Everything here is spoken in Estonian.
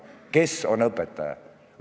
Kes on õpetaja?